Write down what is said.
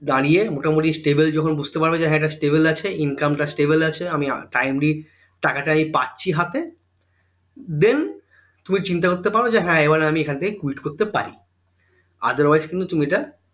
দাঁড়িয়ে মোটামুটি stable যখন বুঝতে পারবে হ্যাঁ এইটা stable আছে income টা stable আছে আমি timely টাকাটা পাচ্ছি হাতে then তুমি চিন্তা করতে পারো যে হ্যাঁ এইবার আমি এখন থেকে quit করতে পারি otherwise কিন্তু তুমি এইটা